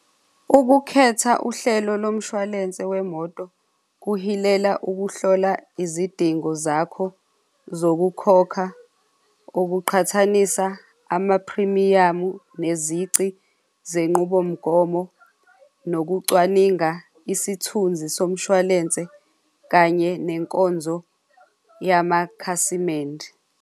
Ukukhetha uhlelo lomshwalense wemoto kuhilela ukuhlola izidingo zakho zokukhokha okuqhathanisa amaphrimiyamu nezici zenqubomgomo nokucwaninga isithunzi somshwalense kanye nenkonzo yamakhasimende.